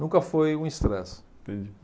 Nunca foi um estresse. Entendi.